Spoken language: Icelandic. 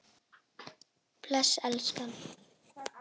Bless elskan!